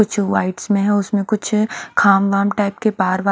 कुछ वाइब्स में है उसमें कुछ खाम वाम टाइप के पहाड़ वाढ़--